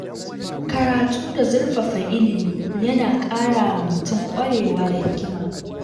Karatu da zurfafa ilimi yana ƙara wa mutum ƙwarewa da hikima.